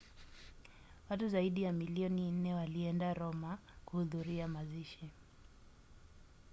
watu zaidi ya milioni nne walienda roma kuhudhuria mazishi